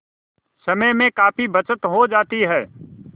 समय में काफी बचत हो जाती है